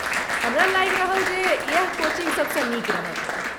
हमरा लागि रहल जे इएह कोचिंग सभसँ नीक रहत।